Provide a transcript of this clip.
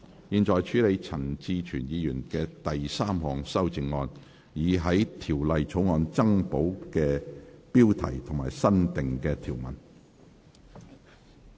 現在處理陳志全議員的第三項修正案，以在條例草案增補新部標題及新訂條文。